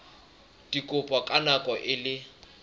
dikopo ka nako e le